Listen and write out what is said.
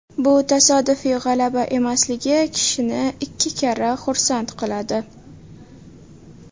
Bu tasodifiy g‘alaba emasligi kishini ikki karra xursand qiladi.